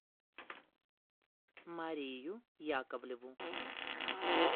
марию яковлеву